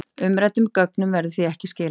Umræddum gögnum verður því ekki skilað